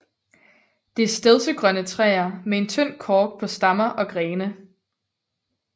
Det er stedsegrønne træer med en tynd kork på stammer og grene